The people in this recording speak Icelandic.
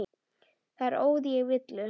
Þar óð ég í villu.